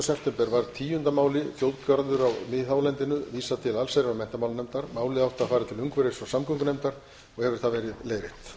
september síðastliðinn var tíunda máli þjóðgarði á miðhálendinu vísað til allsherjar og menntamálanefndar málið átti að fara til umhverfis og samgöngunefndar og hefur það verið leiðrétt